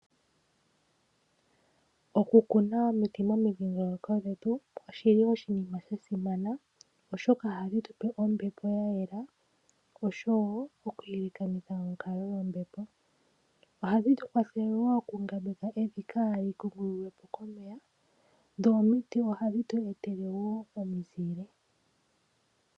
Okukuna omiti dhi li momidhingoloko dhetu oshili oshinima shasimana , oshoka ohadhi tupe ombepo ya yela oshowoo okuyelekanitha onkalo yombepo. Ohadhi vulu wo okungambeka evi kaali kungululwepo komeya , dho omiti ohadhi tu etele wo omizile.